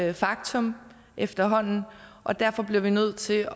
et faktum efterhånden og derfor bliver vi nødt til at